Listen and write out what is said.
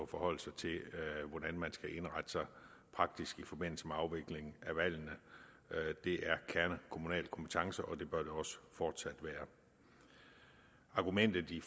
forholde sig til hvordan man skal indrette sig praktisk i forbindelse med afvikling af valgene det er kernekommunal kompetence og det bør det også fortsat være argumentet i